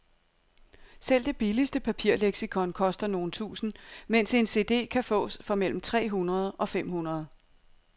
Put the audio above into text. Selv det billigste papirleksikon koster nogle tusinde, mens en cd kan fås for mellem tre hundrede og fem hundrede.